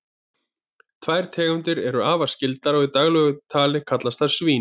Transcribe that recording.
tvær þeirra eru afar skyldar og í daglegu tali kallast þær svín